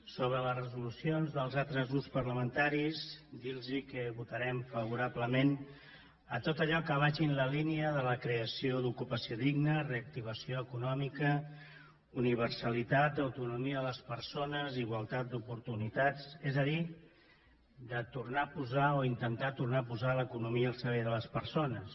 sobre les resolucions dels altres grups parlamentaris dirlos que votarem favorablement tot allò que vagi en la línia de la creació d’ocupació digna reactivació econòmica universalitat autonomia de les persones i igualtat d’oportunitats és a dir de tornar a posar o intentar tornar a posar l’economia al servei de les persones